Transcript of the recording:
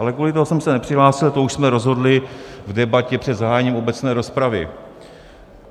Ale kvůli tomu jsem se nepřihlásil, to už jsme rozhodli v debatě před zahájením obecné rozpravy.